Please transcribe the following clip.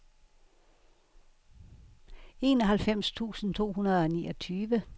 enoghalvfems tusind to hundrede og niogtyve